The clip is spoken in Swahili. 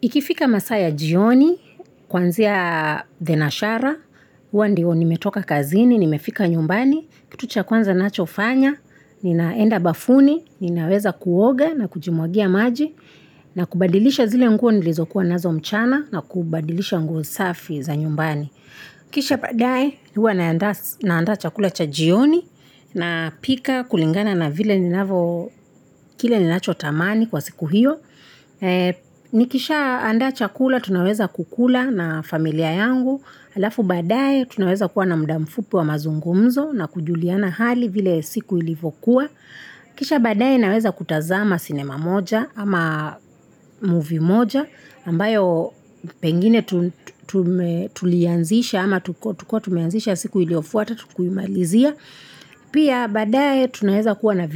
Ikifika masaa ya jioni, kuanzia Denashara, hua ndio nimetoka kazini, nimefika nyumbani, kitu cha kwanza ninachofanya, ninaenda bafuni, ninaweza kuoga na kujimwagia maji, na kubadilisha zile nguo nilizokuwa nazo mchana na kubadilisha nguo safi za nyumbani. Kisha baadaye huwa naandaa chakula cha jioni napika kulingana na vile ni navo kile ninacho tamani kwa siku hiyo. Nikisha andaa chakula tunaweza kukula na familia yangu. Alafu baadaye tunaweza kuwa na muda mfupi wa mazungumzo na kujuliana hali vile siku ilivokuwa. Kisha baadaye naweza kutazama sinema moja ama movie moja. Ambayo pengine tulianzisha ama tuko tumeanzisha siku iliyofuata hatukuimalizia. Pia baadaye tunaweza kuwa na